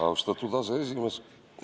Austatud aseesimees!